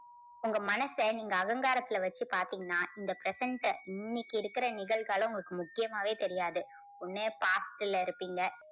உங்க மனச நீங்க அகங்காரத்துல வச்சு பாத்தீங்கன்னா இந்த present அ இன்னைக்கு இருக்குற நிகழ்காலம் உங்களுக்கு முக்கியமாவே தெரியாது. ஒண்ணு past ல இருப்பீங்க